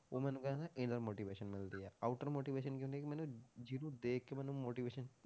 ਉਹਨਾਂ ਨੂੰ ਕਹਿੰਦੇ inner motivation ਮਿਲਦੀ ਹੈ outer motivation ਕੀ ਹੁੰਦੀ ਕਿ ਮੈਨੂੰ ਜਿਹਨੂੰ ਦੇਖ ਕੇ ਮੈਨੂੰ motivation